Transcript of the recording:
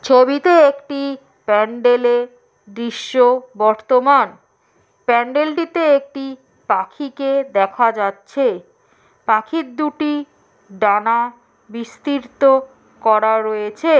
ছবিতে একটি প্যান্ডেল এ দিশ্য বর্তমান প্যান্ডেল টিতে একটি পাখিকে দেখা যাচ্ছে পাখির দুটি ডানা বিস্তৃত করা রয়েছে।